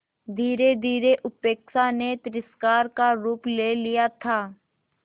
धीरेधीरे उपेक्षा ने तिरस्कार का रूप ले लिया था